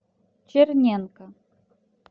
черненко